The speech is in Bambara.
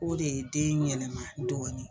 O de ye den yɛlɛma dɔɔnin.